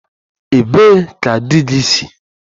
Ebee ka di gị si?